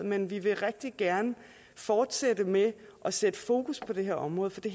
men vi vil rigtig gerne fortsætte med at sætte fokus på det her område for det